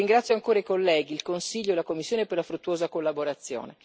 Ringrazio ancora i colleghi, il Consiglio e la Commissione per la fruttuosa collaborazione.